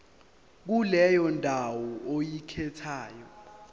kuleyo ndawo oyikhethayo